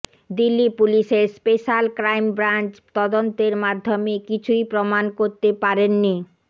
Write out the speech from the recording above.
দিল্লি পুলিশের special crime branch তদন্তের মাধ্যমে কিছুই প্রমাণ করতে পারেননি